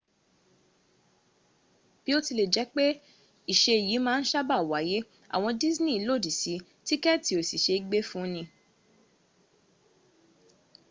biotilejepe ise yi maa n saba waye awon disney lodi si tíkẹ̀tì ò sí se é gbé fúni